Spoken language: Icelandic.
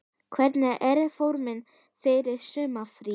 Hvernig er formið fyrir sumarið?